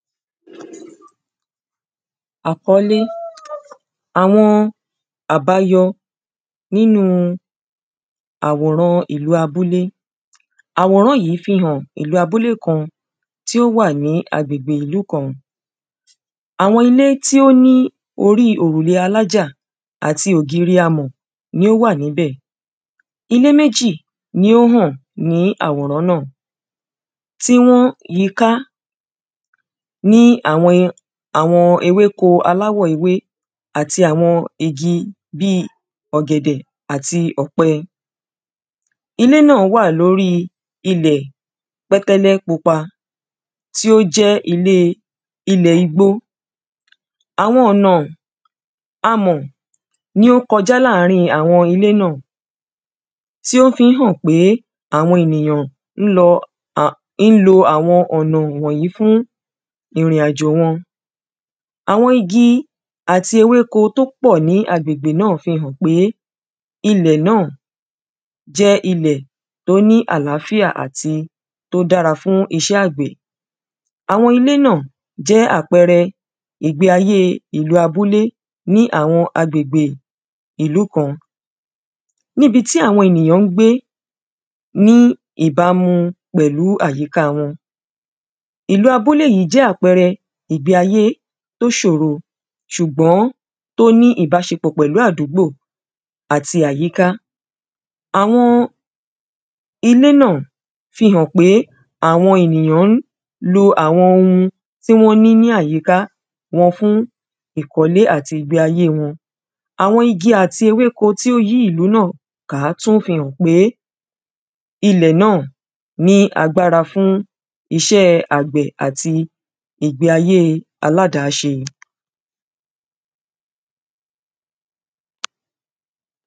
Àkọ́lé. Àwọn àbáyọ nínú àwòrán ìlú abúlé. Àwòrán yìí fi hàn ìlú abúlé kan tí ó wà ní agbègbè ìlú kan. Àwọn ilé tí ó ní orí òrùlé alájà àti ògiri amọ̀ ni ó wà níbẹ̀. Ilé méjì ni ó hàn ní àwòrán náà tí wọ́n yí ká ní àwọn àwọn ewéko aláwọ̀ ewé àti àwọn igi bí ọ̀gẹ̀dẹ̀ àti ọ̀pẹ. Ilé náà wà lórí ilẹ̀ pẹ́tẹ́lẹ́ pupa tí ó jẹ́ ilé ilẹ̀ igbó. Àwọn ọ̀nà amọ̀ ni ó kojá láàrin àwọn ilé náà tí ó fí ń hàn pé àwọn èyàn ń lọ ń lo àwọn ọ̀nà wọ̀nyí fún àwọn ìrìn àjò wọn. Àwọn igi àti ewéko tó pọ̀ ní agbègbè náà fi hàn pé ilẹ̀ náà jẹ́ ilẹ̀ tó ní àláfíà àti tó dára fún iṣẹ́ àgbẹ̀. Àwọn ilé náà jẹ́ àpẹrẹ ìgbé ayé abúlé ní àwọn ìlú kan. Níbi tí àwọn ènìyàn ń gbé ní ìbámu pẹ̀lú àyíká wọn. Ìlú abúlé yìí jẹ́ àpẹrẹ ìgbé ayé tó ṣòro ṣùgbọ́n tó ní ìbáṣepọ̀ pẹ̀lú àdúgbò àti àyíká. Àwọn ilé náà fi hàn pé àwọn ènìyàn ń lu àwọn ohun tí wọ́n ní ní àyíká wọn fún ìkọ́lé àti ìgbé ayé wọn. Àwọn igi àti ewéko tí ó yí ìlú náà ká tún fi hàn pé ilẹ̀ náà ní agbára fún iṣẹ́ àgbẹ̀ àti ìgbé ayé aládaṣe.